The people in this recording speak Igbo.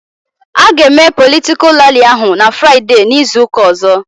A ga eme politikal ralli ahụ n'Fraideee izuka ọzọ